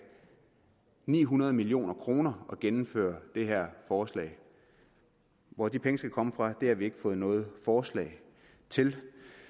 ni hundrede million kroner at gennemføre det her forslag hvor de penge skal komme fra har vi ikke fået noget forslag til